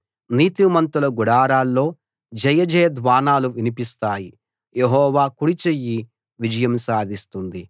నీతిమంతుల గుడారాల్లో జయజయధ్వానాలు వినిపిస్తాయి యెహోవా కుడి చెయ్యి విజయం సాధిస్తుంది